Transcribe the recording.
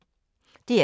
DR2